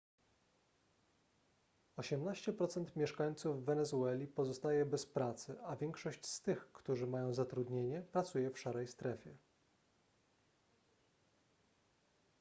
18% mieszkańców wenezueli pozostaje bez pracy a większość z tych którzy mają zatrudnienie pracuje w szarej strefie